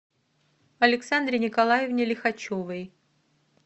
александре николаевне лихачевой